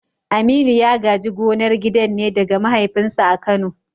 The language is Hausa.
Aminu ya gaji gonar gidan ne daga mahaifinsa a Kano.